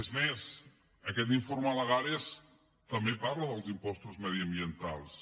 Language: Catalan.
és més aquest informe lagares també parla dels impostos mediambientals